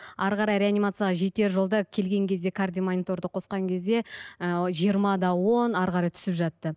әрі қарай реанимацияға жетер жолда келген кезде кардиомониторды қосқан кезде ы жиырма да он әрі қарай түсіп жатты